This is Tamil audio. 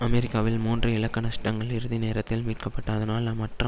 அமெரிக்காவில் மூன்று இலக்க நஷ்டங்கள் இறுதி நேரத்தில் மீட்க பட்டு அதனால் மற்ற